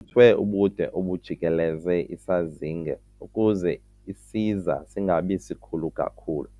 thwe ubude obujikeleze isazinge ukuze isiza singabi sikhulu kakhulu.